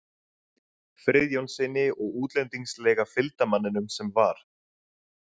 Friðjónssyni og útlendingslega fylgdarmanninum sem var